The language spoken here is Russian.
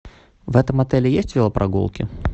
в этом отеле есть велопрогулки